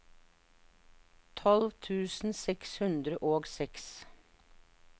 tolv tusen seks hundre og seks